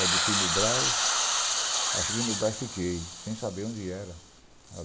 Eu desci no Brás , aí cheguei no Brás e fiquei, sem saber onde era.